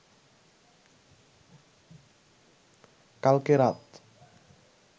কালকে রাত